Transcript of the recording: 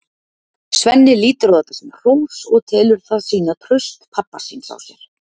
Svenni lítur á þetta sem hrós og telur það sýna traust pabba síns á sér.